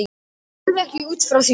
Ég lifi ekki út frá því.